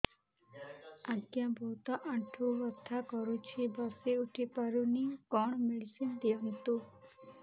ଆଜ୍ଞା ବହୁତ ଆଣ୍ଠୁ ବଥା କରୁଛି ବସି ଉଠି ପାରୁନି କଣ ମେଡ଼ିସିନ ଦିଅନ୍ତୁ